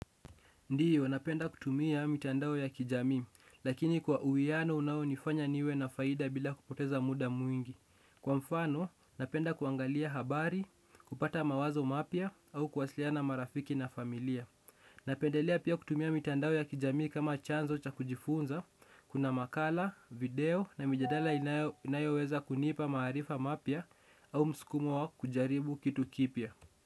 Ndio, napenda kutumia mitandao ya kijamii, lakini kwa uwiano unao nifanya niwe na faida bila kupoteza muda mwingi. Kwa mfano, napenda kuangalia habari, kupata mawazo mapya, au kuwasiliana na marafiki na familia. Napendelea pia kutumia mitandao ya kijamii kama chanzo cha kujifunza. Kuna makala, video, na mijadala inayoweza kunipa maarifa mapya, au msukumo wa kujaribu kitu kipya.